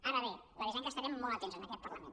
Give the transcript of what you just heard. ara bé l’avisem que estarem molt atents en aquest parlament